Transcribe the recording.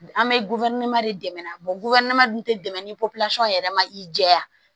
An bɛ de dɛmɛ tɛ dɛmɛ ni yɛrɛ ma i jɛya